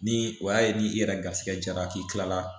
Ni o y'a ye ni i yɛrɛ garisigɛ jara k'i kila la